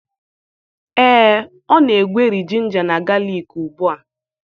Ee, ọ na-egweri ginga na galik ugbu a.